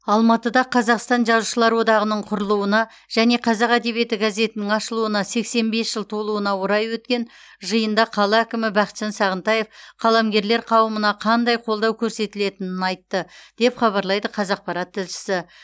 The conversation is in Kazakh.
алматыда қазақстан жазушылар одағының құрылуына және қазақ әдебиеті газетінің ашылуына сексен бес жыл толуына орай өткен жиында қала әкімі бақытжан сағынтаев қаламгерлер қауымына қандай қолдау көрсетілетінін айтты деп хабарлайды қазақпарат тілшісі